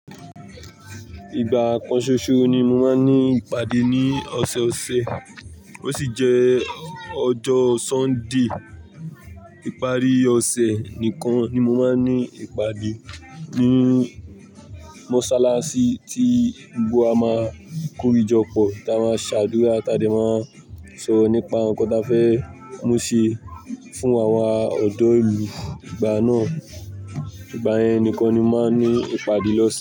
Ìgbà kan ṣoṣo ni mo máa ń ní ìpàdé ní ọ̀sẹ̀ọ̀sẹ̀ ó sì jẹ́ ọjọ́ Sunday. Ìparí ọ̀sẹ̀ nìkan ni mo máa ń ní ìpàdé ní mọ́ṣáláṣí tí gbogbo wa máa korìjọ pọ̀ ta máa ṣàdúrà tàde máa sọ nípa nkan tí a fẹ́ mú ṣe fún àwọn ọ̀dọ́ ìlú ìgbà náà. Ìgbà yẹn nìkan ni mo máa ń ní ìpàdé lọ́sẹ̀.